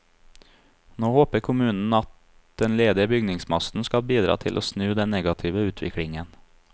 Nå håper kommunen at den ledige bygningsmassen skal bidra til å snu den negative utviklingen.